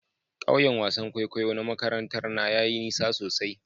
Kauyen wasan kwaikwayo na makarantar na yayi nisa sosai.